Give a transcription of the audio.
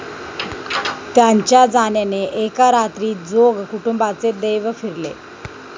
त्यांच्या जाण्याने एका रात्रीत जोग कुटुंबाचे दैव फिरले.